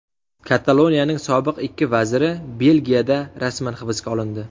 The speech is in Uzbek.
Kataloniyaning sobiq ikki vaziri Belgiyada rasman hibsga olindi.